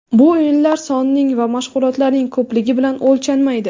Bu o‘yinlar sonining va mashg‘ulotlarning ko‘pligi bilan o‘lchanmaydi”.